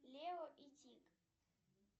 лео и тиг